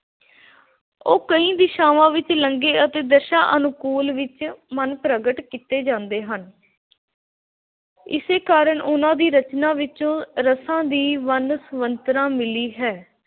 ਉਹ ਕਈ ਦਿਸ਼ਾਵਾਂ ਵਿੱਚ ਲੰਘੇ ਅਤੇ ਦਸ਼ਾ ਅਨੁਕੂਲ ਵਿੱਚ ਮਨ ਪ੍ਰਗਟ ਕੀਤੇ ਜਾਂਦੇ ਹਨ। ਇਸੇ ਕਾਰਨ ਉਹਨਾ ਦੀ ਰਚਨਾ ਵਿੱਚੋਂ ਰਸਾਂ ਦੀ ਵੰਡ ਮਿਲੀ ਹੈ।